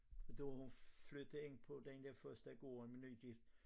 At da hun flyttede ind på den dér første gård nygift